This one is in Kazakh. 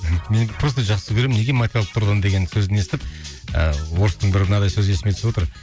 мен просто жақсы көремін неге материалдық тұрғыдан деген сөзін естіп ыыы орыстың бір мынадай сөзі есіме түсіп отыр